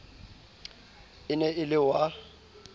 e ne e le wa